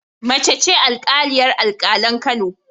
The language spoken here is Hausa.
Mace ce alƙaliyar alƙalan Kano